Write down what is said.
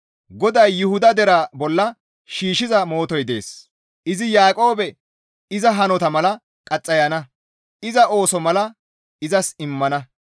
GODAY Yuhuda deraa bolla shiishshiza mootoy dees; izi Yaaqoobe iza hanota mala qaxxayana. Iza ooso mala izas immana.